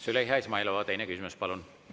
Züleyxa Izmailova, teine küsimus, palun!